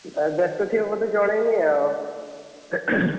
ବେସ୍ତ ଥିବ ବୋଧେ ଜଣେଇନି ଆଉ।